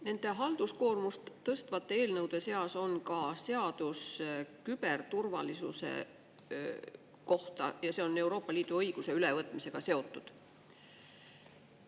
Nende halduskoormust tõstvate eelnõude seas on ka seadus küberturvalisuse kohta ja see on Euroopa Liidu õiguse ülevõtmisega seotud.